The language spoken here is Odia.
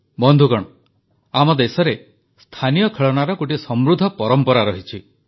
ବନ୍ଧୁଗଣ ଆମ ଦେଶରେ ସ୍ଥାନୀୟ ଖେଳଣାର ଗୋଟିଏ ସମୃଦ୍ଧ ପରମ୍ପରା ରହିଛି